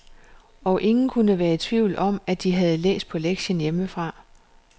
Og ingen kunne være i tvivl om, at de havde læst på lektien hjemmefra.